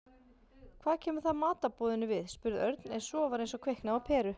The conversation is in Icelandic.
Hvað kemur það matarboðinu við? spurði Örn en svo var eins og kviknaði á peru.